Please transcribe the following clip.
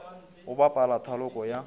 go bapala thaloko ya go